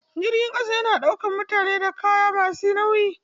Jirgin ƙasa yana ɗaukar mutane da kaya masu nauyi.